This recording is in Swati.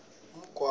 umngcwabo